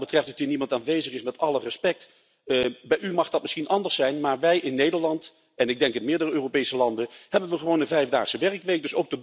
Wat het feit betreft dat hier niemand aanwezig is, kan ik kort zijn. Bij u mag dat misschien anders zijn, maar wij in Nederland en ik denk in meerdere Europese landen hebben gewoon een vijfdaagse werkweek.